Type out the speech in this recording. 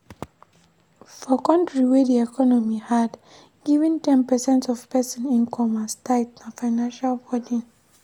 For country wey di economy hard, giving ten percent of person income as tithe na financial burden